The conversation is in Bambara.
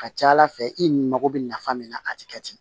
Ka ca ala fɛ i ni mago bɛ nafa min na a tɛ kɛ ten